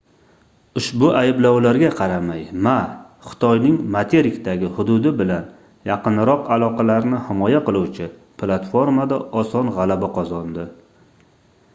ushbu ayblovlarga qaramay ma xitoyning materikdagi hududi bilan yaqinroq aloqalarni himoya qiluvchi platformada oson gʻalaba qozondi